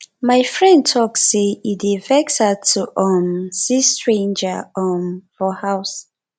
my friend tok sey e dey vex her to um see stranger um for house